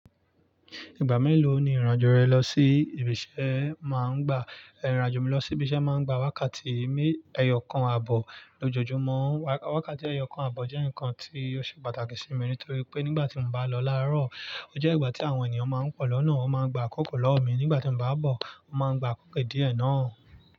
Ìgbà mélòó ni ìrìnàjò rẹ lọ sí ibi iṣẹ́ máa ń gbà? Ìrìnàjò mi lọ sí ibi iṣẹ́ máa ń gbà wákàtí eyọọ̀kan àbọ̀ lójoojúmọ́. Wákàtí ẹyọ̀kan àbọ̀ jẹ́ nǹkan tí ó ṣe pàtàkì sí mi nítorí pé nígbà tí mo bá lọ láàárọ̀, o jẹ́ ìgbà tí àwọn ènìyàn máa ń pọ̀ lọ́nà, wọ́n máa ń gba àkókò lọ́wọ́ mi; nígbà tí mo bá bọ̀, wọ́n máa ń gba àkókò díẹ̀ náà.